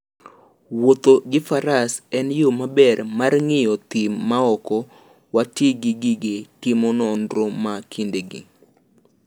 Wuotho gi Faras en yo maber mar ng'iyo thim maok wati gi gige timo nonro ma kindegi.